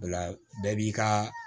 O la bɛɛ b'i ka